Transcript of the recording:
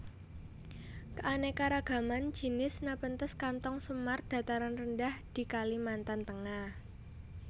Keanekaragaman jinis Nepenthes kantong semar dataran rendah di Kalimantan Tengah